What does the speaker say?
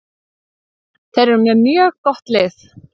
Þeir eru með mjög gott lið.